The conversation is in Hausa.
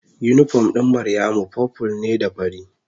Unipom ɗin Maryamu purple ne da fari.